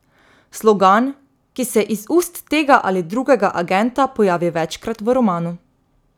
Slogan, ki se iz ust tega ali drugega agenta pojavi večkrat v romanu.